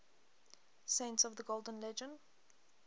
saints of the golden legend